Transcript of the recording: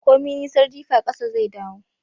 Komi nisar jifa kasa zaidawo.